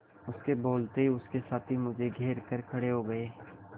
उसके बोलते ही उसके साथी मुझे घेर कर खड़े हो गए